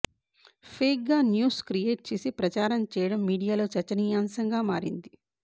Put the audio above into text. fake గా news create చేసి ప్రచారం చేయటం మీడియాలో చర్చనీయాంసంగా మారింది